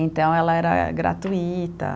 Então, ela era gratuita.